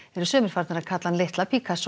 sumir farna að kalla hann litla